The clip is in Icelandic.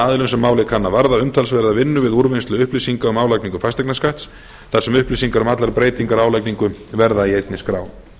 aðilum sem málið kann að varða umtalsverðri vinnu við úrvinnslu upplýsinga um álagningu fasteignaskatts þar sem upplýsingar um allar breytingar á álagningu verða í einni skrá